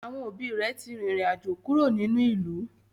Àwọn òbí rẹ̀ ti arìnrìn-àjò kúrò nínú ìlú